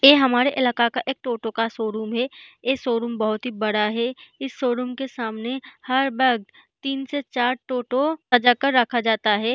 ए हमारे इलाका का एक टोटो का शो-रूम है ये शो-रूम बहुत ही बड़ा है इस शो-रूम के सामने हर वक़्त तीन से चार टोटो सजा कर रखा जाता है।